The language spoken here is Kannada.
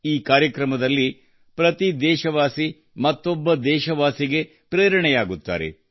ಈ ಕಾರ್ಯಕ್ರಮದಲ್ಲಿ ಪ್ರತಿ ದೇಶವಾಸಿ ಮತ್ತೊಬ್ಬ ದೇಶವಾಸಿಗೆ ಪ್ರೇರಣೆಯಾಗುತ್ತಾರೆ